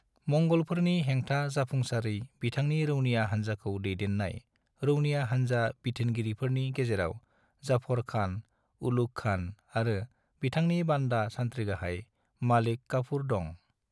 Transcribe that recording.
मंगलफोरनि हेंथा जाफुंसारै बिथांनि रौनिया हानजाखौ दैदेन्नाय रौनिया हानजा बिथोनगिरिफोरनि गेजेराव जाफार खान, उलुग खान आरो बिथांनि बान्दा-सानथ्रिगाहाय मालिक काफूर दं।